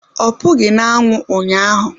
Ọ pụghị na anwụ ụnyaahụ